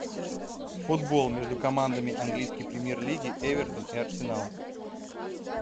футбол между командами английской премьер лиги эвертон и арсенал